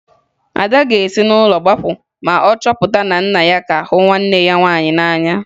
Ada ga-esi n'ụlọ gbapụ ma ọ chọpụta na nna ya ka hụ nwanne ya nwaanyị n'anya